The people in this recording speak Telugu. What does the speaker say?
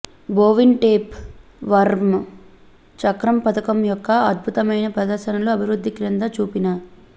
బోవిన్ టేప్ వర్మ్ చక్రం పథకం యొక్క అద్భుతమైన ప్రదర్శనలు అభివృద్ధి క్రింద చూపిన